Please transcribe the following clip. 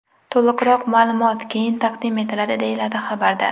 To‘liqroq ma’lumot keyin taqdim etiladi”, deyiladi xabarda.